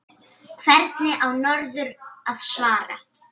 Hvernig á norður að svara?